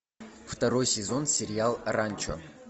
второй сезон сериал ранчо